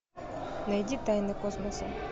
найди тайны космоса